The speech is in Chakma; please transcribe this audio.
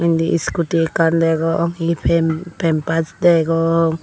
indi scooty ekkan degong he pem pempass degong.